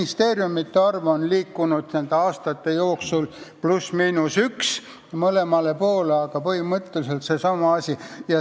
Ministeeriumide arv on liikunud nende aastate jooksul pluss-miinus üks mõlemale poole.